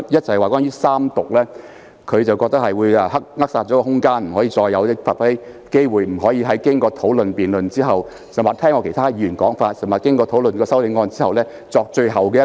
首先關於三讀的安排，他認為會扼殺空間，令議員再無發揮機會，不能在經過討論和辯論或聽畢其他議員發言，以及在討論修正案後，作出最後的陳述。